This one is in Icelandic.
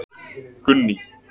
Gunný